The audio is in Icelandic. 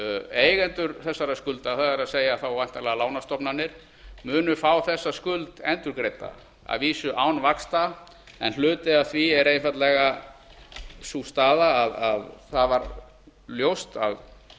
eigendur þessara skulda það er þá væntanlega lánastofnanir munu fá þessa skuld endurgreidda að vísu án vaxta en hluti af því er einfaldlega sú staða að það varð ljóst